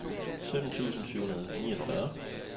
sytten tusind syv hundrede og niogfyrre